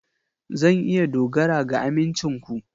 Zan iya dogara ga amincin ku?